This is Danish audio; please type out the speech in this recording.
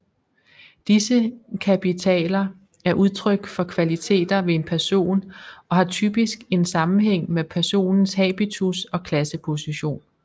Disse kapitaler er udtryk for kvaliteter ved en person og har typisk en sammenhæng med personens habitus og klasseposition